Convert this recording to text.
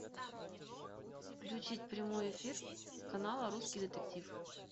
включить прямой эфир канала русский детектив